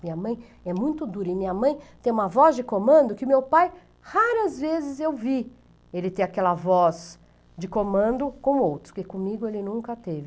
Minha mãe é muito dura e minha mãe tem uma voz de comando que meu pai, raras vezes eu vi ele ter aquela voz de comando com outros, porque comigo ele nunca teve.